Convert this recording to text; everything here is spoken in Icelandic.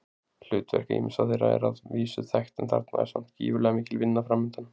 Hlutverk ýmissa þeirra er að vísu þekkt en þarna er samt gífurlega mikil vinna framundan.